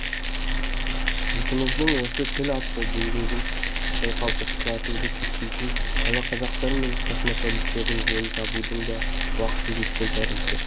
жұртымыздың осы тіл атты діңгегін шайқалтып құлатуды көксейтін шалақазақтар мен космополиттердің жөнін табудың да уақыты жеткен тәрізді